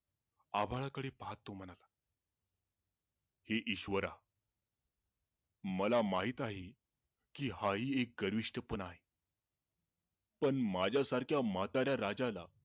अभाळकडे पाहत म्हणाला, हे ईश्वरा, मला माहित आहे, की हा ही एक गरविष्ठपणा आहे पण माझ्या सारख्या म्हाताऱ्या राजाला